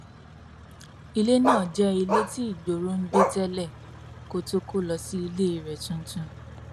ilé náà jẹ ilé tí igboro ń gbé tẹlẹ kó tóó kó lọ sí ilé rẹ tuntun